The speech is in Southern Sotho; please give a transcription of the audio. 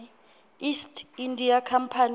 east india company